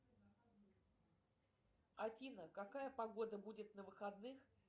афина какая погода будет на выходных